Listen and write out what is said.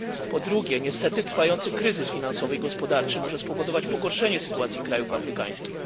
Po drugie, niestety, trwający kryzys finansowy i gospodarczy może spowodować pogorszenie sytuacji krajów afrykańskich.